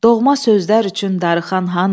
Doğma sözlər üçün darıxan hanı?